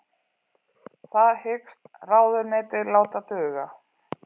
Það hyggst ráðuneytið láta duga